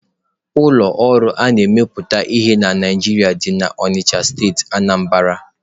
Ụlọ ọrụ a na-emepụta ihe na Naijiria dị na Onitsha steeti Anambra.